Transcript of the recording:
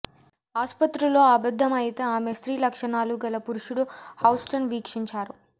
ఆసుపత్రిలో అబద్ధం అయితే ఆమె స్త్రీ లక్షణాలుగల పురుషుడు హౌస్టన్ వీక్షించారు